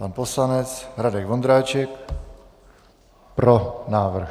Pan poslanec Radek Vondráček: Pro návrh.